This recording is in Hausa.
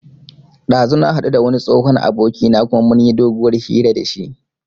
Ɗazu na haɗu da wani tsohon abokina kuma mun yi doguwar hira da shi